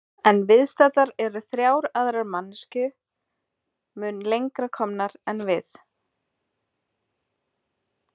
En viðstaddar eru þrjár aðrar manneskju mun lengra komnar en við.